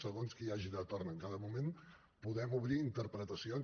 segons qui hi hagi de torn en cada moment podem obrir interpretacions